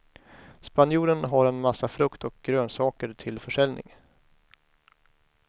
Spanjoren har en massa frukt och grönsaker till försäljning.